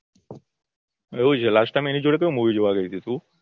એવું છે last time એની જોડે કયું મુવી જોવા ગઇતી તું